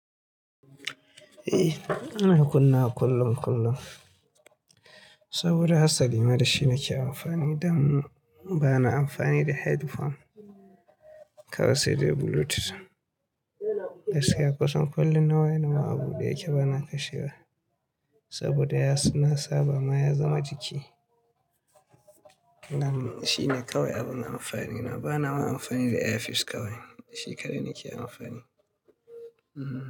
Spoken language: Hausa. Eh ana kunnawa kullum kullum. Saboda hasali ma da shi nake amfani dan bana amfani da headphone kawai sai da Bluetooth. Gaskisya kusan kullum nawa yana wa abu da yake bana kashewa. Saboda ya suna nasaba ma ya zama jiki. Nan shi ne kawai abin amfani na bana amfani da airpeace kawai. Da shi kaɗai nake amfani. Ehn.